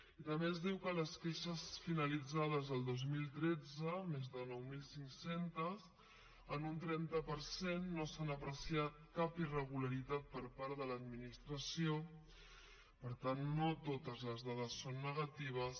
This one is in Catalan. i també ens diu que en les queixes finalitzades del dos mil tretze més de nou mil cinc cents en un trenta per cent no s’hi ha apreciat cap irregularitat per part de l’administració per tant no totes les dades són negatives